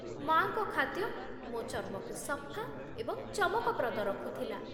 ମା'ଙ୍କ ଖାଦ୍ୟ ମୋ ଚର୍ମକୁ ସଫା ଏବଂ ଚମକପ୍ରଦ ରଖୁଥିଲା।